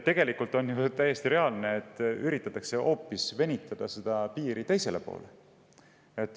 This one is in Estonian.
Tegelikult on täiesti reaalne, et seda piiri üritatakse venitada hoopis teisele poole.